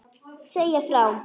Segja frá.